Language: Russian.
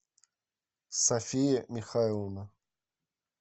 софия михайловна